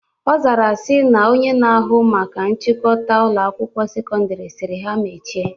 Ọ zara sị na Onye na-ahụ maka nchịkọta Ụlọ akwụkwọ sekọndrị sịrị ha mechie